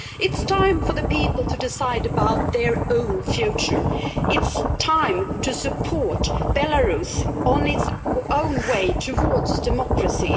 it is time for the people to decide about their own future. it is time to support Belarus on its own way towards democracy.